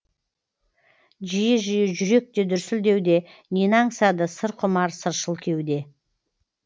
жиі жиі жүрек те дүрсілдеуде нені аңсады сыр құмар сыршыл кеуде